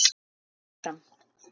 Lilla áfram.